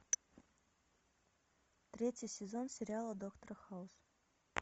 третий сезон сериала доктор хаус